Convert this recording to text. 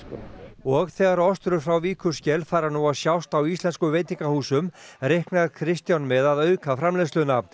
og þegar frá Víkurskel fara nú að sjást á íslenskum veitingahúsum reiknar Kristján með að auka framleiðsluna